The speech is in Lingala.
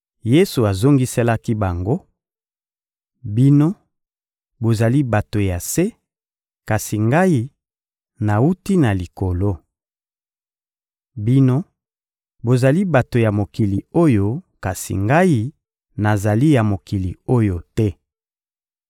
Yesu azongiselaki bango: — Bino, bozali bato ya se; kasi Ngai, nawuti na Likolo. Bino, bozali bato ya mokili oyo; kasi Ngai, nazali ya mokili oyo te.